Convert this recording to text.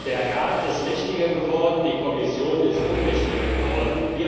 Der Rat ist mächtiger geworden, die Kommission ist ohnmächtiger geworden.